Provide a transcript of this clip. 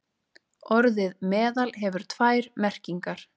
Orðið meðal hefur tvær merkingar.